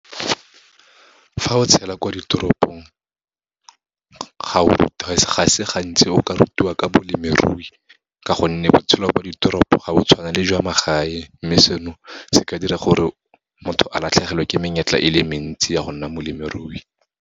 Fa o tshela kwa ditoropong, ga se gantsi o ka rutiwa ka bolemirui ka gonne, botshelo kwa ditoropo ga bo tshwana le jwa magae. Mme seno, se ka dira gore motho a latlhegelwe ke menyetla e le mentsi, ya go nna molemirui.